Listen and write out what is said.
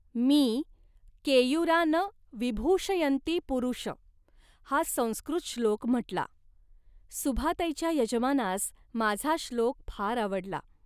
मी "केयूरा न विभूषयन्ति पुरुष" हा संस्कृत श्लोक म्हटला. सुभाताईच्या यजमानास माझा श्लोक फार आवडला